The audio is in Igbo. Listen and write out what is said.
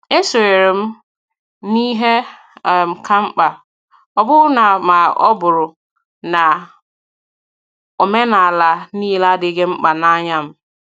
E sonyeere m n' ihe um kà mkpa, ọbụna ma ọ bụrụ na omenala niile adịghị mkpa n’anya m.